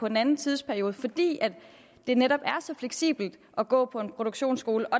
en anden tidsperiode fordi det netop er så fleksibelt at gå på en produktionsskole og